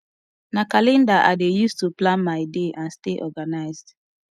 na calendar i dey use to plan my day and stay organized